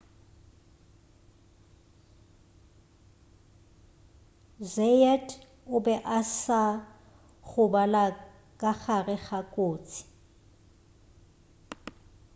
zayat o be a sa gobala ka gare ga kotsi